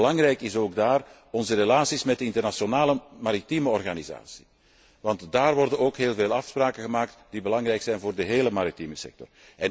Belangrijk zijn ook daar onze relaties met de internationale maritieme organisatie, want daar worden immers heel veel afspraken gemaakt die belangrijk zijn voor de hele maritieme sector.